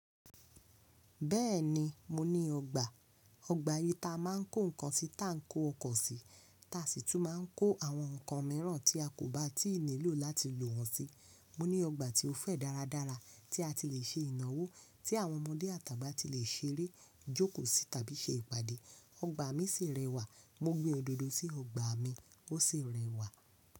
Bẹ́ẹ̀ni, mo ní ọgbà. Ọgbà yìí ta a máa ń kó nǹkan tí ta ń kó ọkọ̀ sí, ta sì tún máa ń kó àwọn nǹkan míràn tí a kò bá tíì nílò láti lò wọ́n sí. Mo ní ọgbà tí ó fẹ̀ dáradára tí a ti le è se ìnáwó, tí àwọn ọmọdé àtà agbà ti lè ṣeré, jókòó sì tàbí ṣe ìpàdé. Ọgbà mi sì rẹwà. Mo gbin òdòdó sí ọgbà mi, ó sì rẹwà.